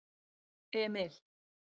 Emil